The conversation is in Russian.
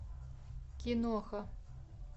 киноха